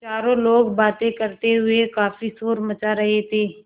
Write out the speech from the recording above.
चारों लोग बातें करते हुए काफ़ी शोर मचा रहे थे